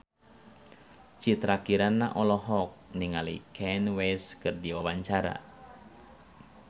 Citra Kirana olohok ningali Kanye West keur diwawancara